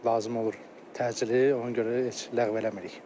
Lazım olur təcili, ona görə heç ləğv eləmirik.